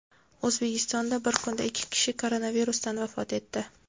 O‘zbekistonda bir kunda ikki kishi koronavirusdan vafot etdi.